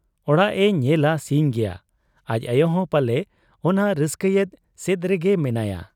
ᱚᱲᱟᱜ ᱮ ᱧᱮᱞᱟ ᱥᱤᱧ ᱜᱮᱭᱟ ᱾ ᱟᱟᱡ ᱟᱭᱚᱦᱚᱸ ᱯᱟᱞᱮ ᱚᱱᱟ ᱨᱟᱹᱥᱠᱟᱹᱭᱮᱫ ᱥᱮᱫᱨᱮ ᱜᱮ ᱢᱮᱱᱟᱭᱟ ᱾